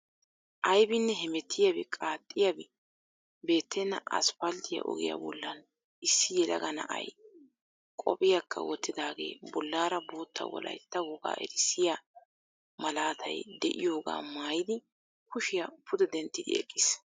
Aybinne hemeettiyabi qaaxxiyaabi beettenna asppalttiyaa ogiyaa bollan issi yelaga na"ay qophiyakka wottidaagee bollaara bootta wolayitta wogaa erissiya malaatay de'iyoogaa mayiddi kushiya pude denttidi eqqis.